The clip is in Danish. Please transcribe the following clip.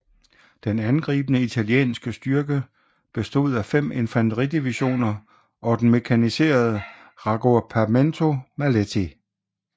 Den angribende italienske styrke bestod af fem infanteridivisioner og den mekaniserede Raggruppamento Maletti